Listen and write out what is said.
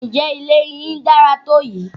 Ǹjẹ́ ilé yín dára tó yìí?